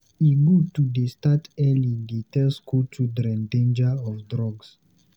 E good to dey start early dey tell skool children dangers of drug.